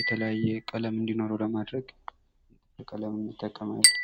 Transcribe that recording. የተለያየ ቀለም እንዲኖረዉ ለማድረግ ቀለም እንጠቀማለን።